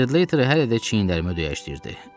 Sled Later hələ də çiyinlərimə döyəcləyirdi.